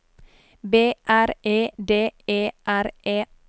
B R E D E R E